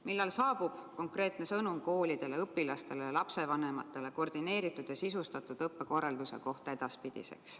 Millal saabub konkreetne sõnum koolidele, õpilastele ja lapsevanematele, milline on edaspidi koordineeritud ja sisustatud õppekorraldus?